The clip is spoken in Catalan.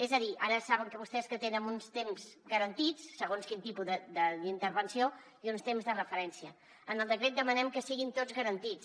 és a dir ara saben vostès que tenen uns temps garantits segons quin tipus d’intervenció i uns temps de referència en el decret demanem que siguin tots garantits